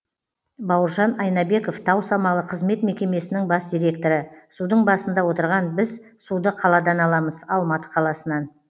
бауыржан айнабеков тау самалы қызмет мекемесінің бас директоры судың басында отырған біз суды қаладан аламыз алматы қаласынан